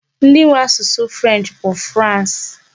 Ndị nwe asụsụ 'French bụ France.